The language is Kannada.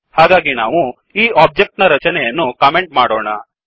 ಹಾಗಾಗಿ ನಾವು ಈ ಒಬ್ಜೆಕ್ಟ್ ನ ರಚನೆಯನ್ನು ಕಮೆಂಟ್ ಮಾಡೋಣ